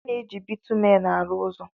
A na-eji Bitumen arụ ụzọ.